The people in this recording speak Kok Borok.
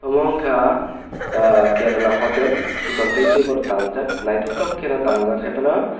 amo ungka ah kerela hotel sikon teitebo tangjak naitotok ke no tangjak hai pono.